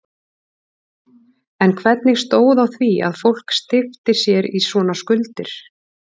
En hvernig stóð á því að fólk steypti sér í svona skuldir?